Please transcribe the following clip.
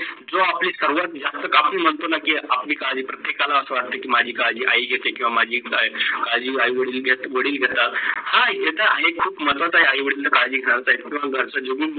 जो आपली सर्व जास्त काफी महत्व असत. की आपली काळजी प्रत्येकाला अस वाटये की माझी काळजी आई घेते किव्वा माझी काळजी वडील घेतात, हा घेतात आहे, हे खूप महत्वाचे आहे आई - वडिलांना काळजी घेणारा भर जागून